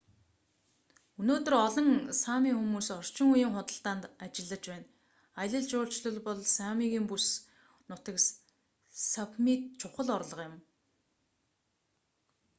өнөөдөр олон сами хүмүүс орчин үеийн худалдаанд ажиллаж байна аялал жуулчлал бол самигийн бүс нутаг сапмид чухал орлого юм